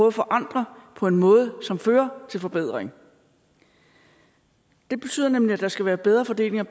at forandre på en måde som fører til forbedring det betyder nemlig at der skal være bedre fordeling af